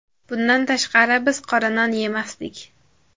Bundan tashqari biz qora non yemasdik.